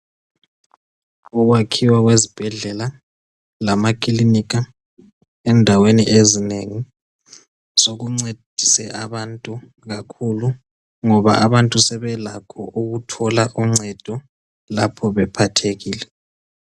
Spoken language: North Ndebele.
ukwakhiwa kwezibhedlela lamaklinika endwaweni ezinengi sokuncedise abantu kakhulu ngoba abantu sebelakho ukuthola uncendo lapho bephathekile